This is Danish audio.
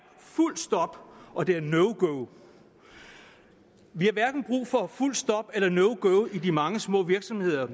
fuldt stop og det er no go vi har hverken brug for fuldt stop eller no go i de mange små virksomheder